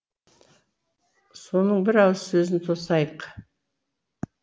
соның бір ауыз сөзін тосайық